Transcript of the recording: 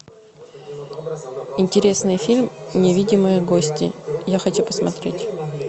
интересный фильм невидимые гости я хочу посмотреть